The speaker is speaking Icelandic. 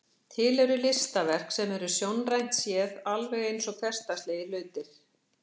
Til eru listaverk sem eru sjónrænt séð alveg eins og hversdagslegir hlutir.